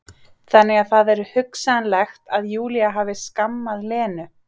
Þannig að það er hugsanlegt að Júlía hafi skammað Lenu.